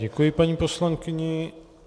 Děkuji paní poslankyni.